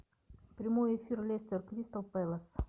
прямой эфир лестер кристал пэлас